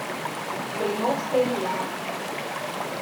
блиновская елена